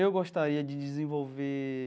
Eu gostaria de desenvolver.